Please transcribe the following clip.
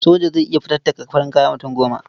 Soja zai iya fatattaka farin kaya mutum goma.